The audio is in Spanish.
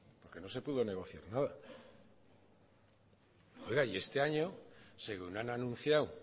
es que no se pudo negociar nada y este año según han anunciado